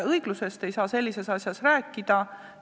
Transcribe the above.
Õiglusest ei saa sellises olukorras rääkida.